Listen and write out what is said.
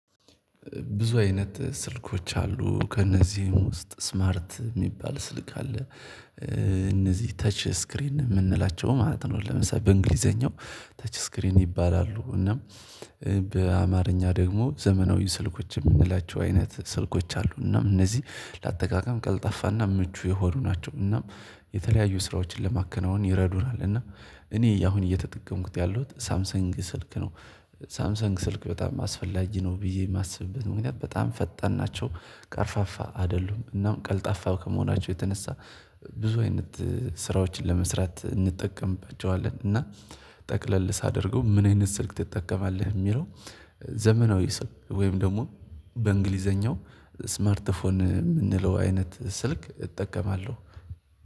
ብዙ አይነት ስልኮች አሉ ከእነዚህም ውስጥ ስማርት የሚባል ስልክ አለ እነዚህ ተች ስክሪን የምንላቸው ማለት ነው ለምሳሌ በእንግሊዘኛው ተች ስክሪን ይባላሉ እና በአማርኛ ደግሞ ዘመናዊ ስልኮች የምንላቸው አይነት ስልኮች አሉ እና እነዚህ ለአጠቃቀም ቀልጣፋና ምቹ የሆኑ ናቸው እናም የተለያዩ ስራዎችን ለማከናወን ይረዱናል እና እኔ እያሁን እየተጠቀምኩት ያሉት ሳምሰንግ ስልክ ነው። ሳምሰንግ ስልክ በጣም አስፈላጊ ነው ብዬ የማስብበት ምክንያት በጣም ፈጣን ናቸው ቀርፋፋ አይደሉም እናም ቀልጣፋ ከመሆናቸው የተነሳ ብዙ አይነት ስራዎችን ለመስራት እንጠቀምባቸዋለን እና ጠቅለል ሳደርገው ምን አይነት ስልክ ትጠቀማለህ? የሚለው ዘመናዊ ስልክ ወይም ደግሞ በእንግሊዘኛው ስማርት ፎን የምንለው አይነት ስልክ እጠቀማለሁ።